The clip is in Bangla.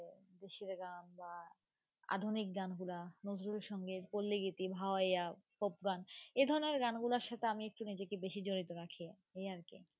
খুশির গান বা আধুনিক গানগুলা নজরুল সঙ্গীত পল্লীগীতি ভাওয়াইয়া folk গান এ ধরণের গান গুলার সাথে আমি একটু নিজেকে বেশি জড়িত রাখি, এই আর কি.